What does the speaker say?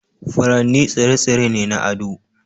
Furanni tsire-tsire ne na ado.